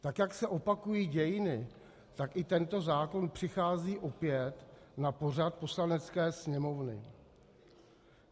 Tak jak se opakují dějiny, tak i tento zákon přichází opět na pořad Poslanecké sněmovny.